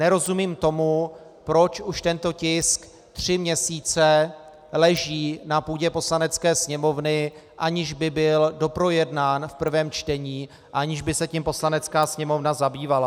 Nerozumím tomu, proč už tento tisk tři měsíce leží na půdě Poslanecké sněmovny, aniž by byl doprojednán v prvém čtení, aniž by se tím Poslanecká sněmovna zabývala.